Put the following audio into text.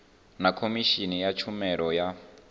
na khomishini ya tshumelo ya